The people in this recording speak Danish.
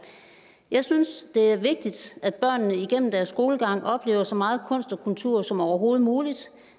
jeg synes at det er vigtigt at børnene igennem deres skolegang oplever så meget kunst og kultur som overhovedet muligt